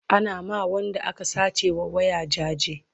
Ana ma Wanda aka sace wa waya jaje